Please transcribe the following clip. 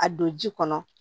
A don ji kɔnɔ